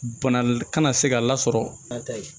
Bana kana se ka lasɔrɔ